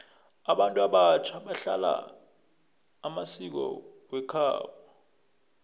abantu abatjha balahla amasiko wekhabo